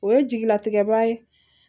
O ye jigilatigɛba ye